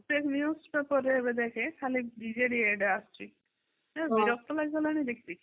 ସେ news paper ରେ ଏବେ ଦେଖେ ଖାଲି ବିଜେଡି ad ଆସୁଛି ।ବିରକ୍ତି ଲାଗିଲାଣି ଦେଖି ଦେଖି